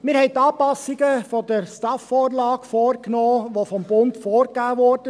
Wir haben die Anpassungen gemäss der STAF-Vorlage vorgenommen, welche vom Bund vorgegeben wurden.